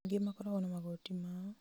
angĩ makoragwo na magoti mao